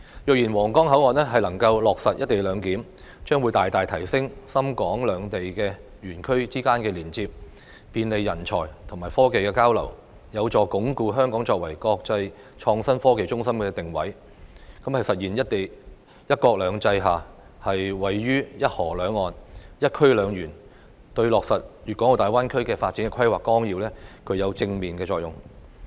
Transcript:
若然皇崗口岸能夠落實"一地兩檢"，將會大大提升深港兩地園區之間的連接，便利人才及技術交流，有助鞏固香港作為國際創新科技中心的定位，實現"一國兩制"下，位處"一河兩岸"的"一區兩園"，對落實《粵港澳大灣區發展規劃綱要》具有正面作用。